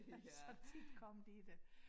Så de kom lige dér